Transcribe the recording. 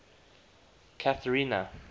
cathrina